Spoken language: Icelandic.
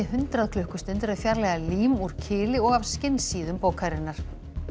hundrað klukkustundir að fjarlægja lím úr kili og af bókarinnar